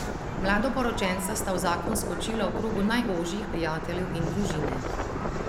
Mladoporočenca sta v zakon skočila v krogu najožjih prijateljev in družine.